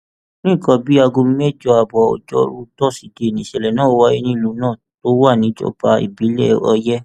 ní nǹkan bíi aago mẹjọ ààbọ ojórù tosidee nìṣẹlẹ náà wáyé nílùú náà tó wà níjọba ìbílẹ ọyẹ